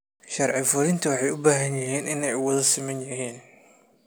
Sharci-fulinta waxay u baahan yihiin inay u wada siman yihiin.